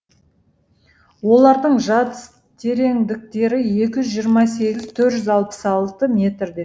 олардың жатыс тереңдіктері екі жүз жиырма сегіз төрт жүз алпыс алты метрде